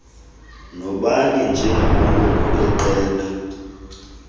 nabanye njengamalungu eqela